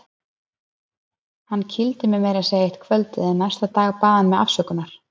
Hann kýldi mig meira að segja eitt kvöldið en næsta dag bað hann mig afsökunar.